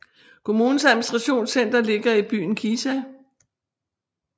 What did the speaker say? Kommunens administrationscenter ligger i byen Kisa